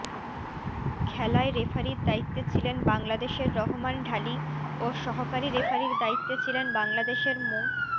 খেলায় রেফারির দায়িত্বে ছিলেন বাংলাদেশের রহমান ঢালি ও সহকারী রেফারির দায়িত্বে ছিলেন বাংলাদেশের মো